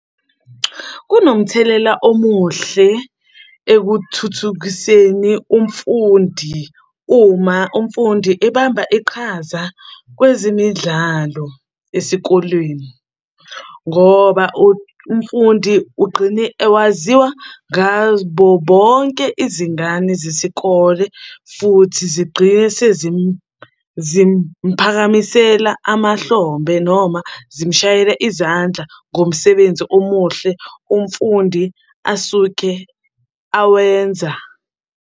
Kunomthelela omuhle ekuthuthukiseni umfundi uma umfundi ebamba iqhaza kwezemidlalo esikolweni, ngoba umfundi ugqine awaziwa ngabo bonke izingane zesikole futhi zigqine sezimphakamisela amahlombe noma zimshayela izandla ngomsebenzi omuhle umfundi asuke awenza.